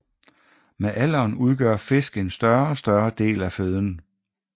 Med alderen udgør fisk en større og større del af føden